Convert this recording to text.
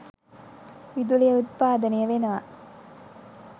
විදුලිය උත්පාදනය වෙනව.